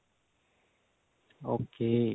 okay